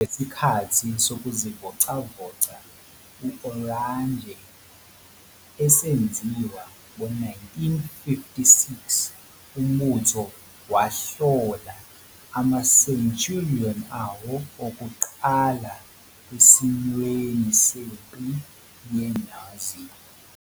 Ngesikhathi sokuzivocavoca u-Oranje, esenziwa ngo-1956, uMbutho wahlola ama-Centurion awo okokuqala esimweni sempi yenuzi.